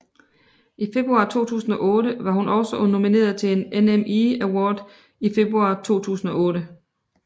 I februar 2008 var hun også nomineret til NME Award i februar 2008